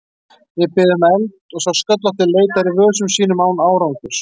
Ég bið um eld og sá sköllótti leitar í vösum sínum án árangurs.